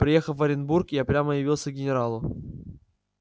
приехав в оренбург я прямо явился к генералу